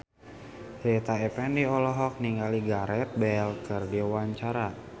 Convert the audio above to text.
Rita Effendy olohok ningali Gareth Bale keur diwawancara